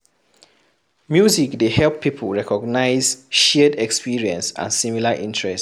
Music dey help people recognise shared experience and similar interest